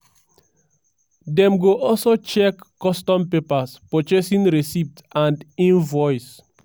dem go also check custom papers purchasing receipt and invoice.